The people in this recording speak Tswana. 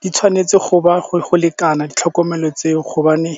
Di tshwanetse go ba go lekana ditlhokomelo tseo gobane